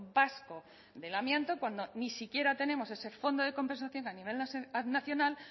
vasco del amianto cuando ni siquiera tenemos ese fondo de compensación a nivel nacional